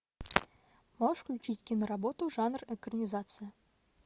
можешь включить киноработу жанр экранизация